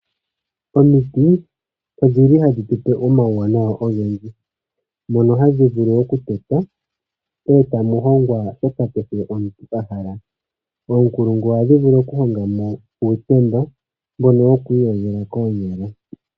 Omiti odhili hadhi tu pe omauwanawa ogendji mono hadhi vulu okutetwa eta mu hongwa shoka kehe omuntu a hala oonkulungu ohadhi vulu okuhonga mo uutemba mbono woku iyogela koonyala.